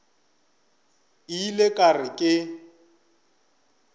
ile ka re ge ke